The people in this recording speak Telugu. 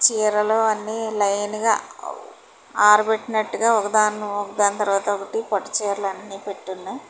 అన్ని లైన్ గా ఆరపెట్టినట్టుగా ఒకదాన్ను ఒకదాని తర్వాత ఒకటి పట్టు చీరలు అన్ని పెట్టి ఉన్నాయ్ .